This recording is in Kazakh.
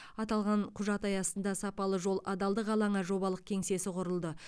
аталған құжат аясында сапалы жол адалдық алаңы жобалық кеңсесі құрылды